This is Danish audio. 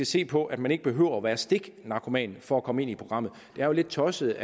se på at man ikke behøver at være stiknarkoman for at komme ind i programmet det er jo lidt tosset